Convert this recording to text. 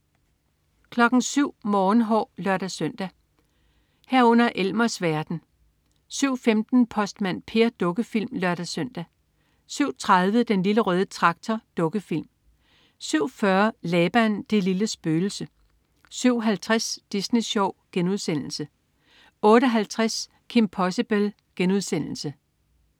07.00 Morgenhår (lør-søn) 07.00 Elmers verden (lør-søn) 07.15 Postmand Per. Dukkefilm (lør-søn) 07.30 Den Lille Røde Traktor. Dukkefilm 07.40 Laban, det lille spøgelse 07.50 Disney Sjov* 08.50 Kim Possible*